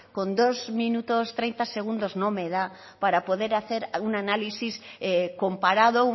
con dos minutos tres segundos no me da para poder hacer un análisis comparado